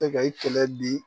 E ka i kɛlɛ di